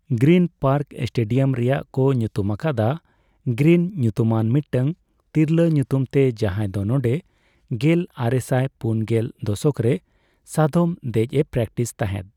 Green park stadium ᱨᱮᱭᱟᱜ ᱠᱚ ᱧᱩᱛᱩᱢ ᱟᱠᱟᱫᱟ ᱜᱨᱤᱱ ᱧᱩᱛᱩᱢᱟᱱ ᱢᱤᱫᱴᱟᱝ ᱛᱤᱨᱞᱟᱹ ᱧᱩᱛᱩᱢᱛᱮ ᱡᱟᱦᱟᱸᱭ ᱫᱚ ᱱᱚᱰᱮᱸ ᱜᱮᱞ ᱟᱨᱮᱥᱟᱭ ᱯᱩᱱᱜᱮᱞ ᱫᱚᱥᱚᱠ ᱨᱮ ᱥᱟᱫᱚᱢ ᱫᱮᱡ ᱮ ᱯᱨᱮᱴᱤᱥ ᱛᱟᱦᱮᱫ ᱾